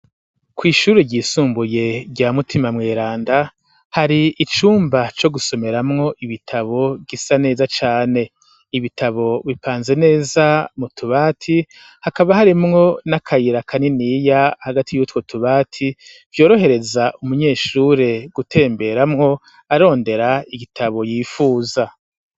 Kw'ishure ryisumbuye rya mutima mweranda hari icumba co gusomeramwo ibitabo bisa neza cane ibitabo bipanze neza mu tubati hakaba harimwo n'akayira kaniniya hagati yutwo tubati vyorohereza umunyeshure gutemberamwo arondera igitabo yifuza.